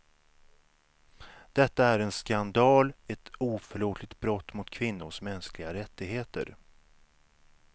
Detta är en skandal, ett oförlåtligt brott mot kvinnors mänskliga rättigheter.